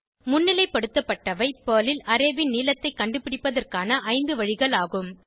முன்னிலைப்படுத்தப்பட்டவை Perl ல் array ன் நீளத்தைக் கண்டுபிடிப்பதற்கான 5 வழிகள் ஆகும்